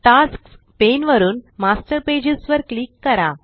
tasks pane वरुन master pages वर click करा